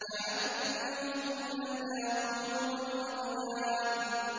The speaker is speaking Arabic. كَأَنَّهُنَّ الْيَاقُوتُ وَالْمَرْجَانُ